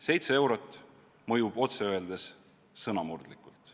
Seitse eurot mõjub otse öeldes sõnamurdlikult.